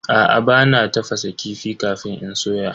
Aa, bana tafasa kifi kafin in soya.